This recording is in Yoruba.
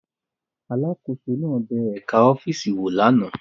Alákòóso náà bẹ ẹ̀ka ọ́fíìsì wò lánàá